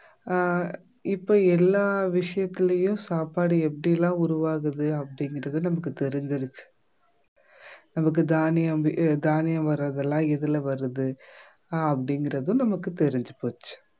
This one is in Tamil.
ஆஹ் இப்ப எல்லா விஷயத்துலயும் சாப்பாடு எப்படி எல்லாம் உருவாகுது அப்படிங்கறது நமக்கு தெரிஞ்சிருச்சு நமக்கு தானியம் வே ஆஹ் தானியம் வர்றதெல்லாம் எதுல வருது அப்படிங்கிறதும் நமக்கு தெரிஞ்சு போச்சு